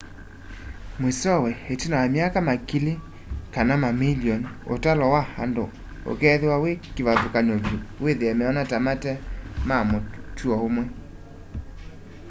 mwisowe itina wa myaka makili ka mamilioni utalo wa andu ukeethwa wi kivathukany'o vyu withie meona ta mate ma mutuo umwe